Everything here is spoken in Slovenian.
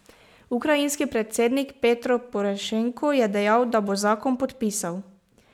Ukrajinski predsednik Petro Porošenko je dejal, da bo zakon podpisal.